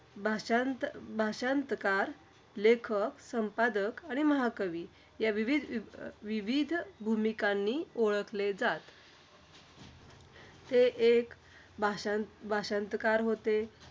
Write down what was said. भाषांत भाषांतकार, लेखक, संपादक आणि महाकवी या विविध अं विविध भूमिकांनी ओळखले जात. ते एक भाषांत भाषांतकार